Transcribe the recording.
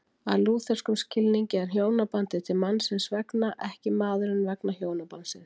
Að lútherskum skilningi er hjónabandið til mannsins vegna, ekki maðurinn vegna hjónabandsins.